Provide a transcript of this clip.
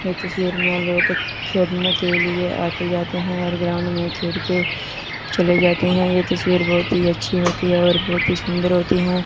इस तस्वीर में लोग खेलने के लिए आते जाते हैं और ग्राउंड में खेल के चले जाते हैं यह तस्वीर बहोत ही अच्छी होती है और बहोत ही सुंदर होती हैं।